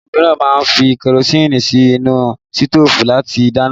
Àwọn mìíràn a máa fi kerosinni sí inú sitofu láti dáná